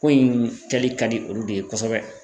Ko in kɛli ka di olu de ye kosɛbɛ.